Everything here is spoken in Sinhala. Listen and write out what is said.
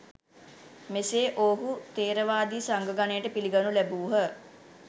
මෙසේ ඔවුහු ථේරවාදි සංඝ ගණයට පිළිගනු ලැබූහ